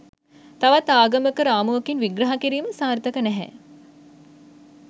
තවත් ආගමක රාමුවකින් විහ්‍රහ කිරීම සාර්තක නෑ